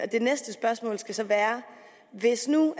det næste spørgsmål skal så være hvis nu